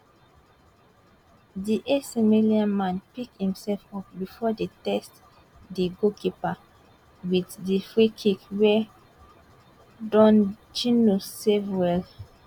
di ac milan man pick imsef up before e test di goalkeeper wit di freekick wey dondjinou save well